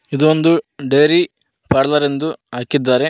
ಇದೊಂದು dairy parlour ಎಂದು ಹಾಕಿದ್ದಾರೆ.